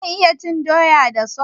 Zan iya cin doya da sos?